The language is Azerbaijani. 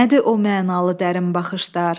Nədir o mənalı dərin baxışlar?